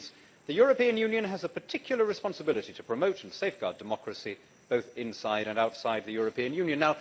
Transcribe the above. It reads the European Union has a particular responsibility to promote and safeguard democracy, both inside and outside the European Union'.